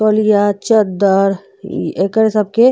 तौलिया चदर इ एकरे सबके --